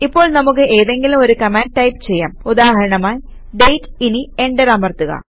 ഇപ്പോൾ നമുക്ക് ഏതെങ്കിലും ഒരു കമാൻഡ് ടൈപ് ചെയ്യാം ഉദാഹരണമായി ഡേറ്റ് ഇനി എന്റർ അമർത്തുക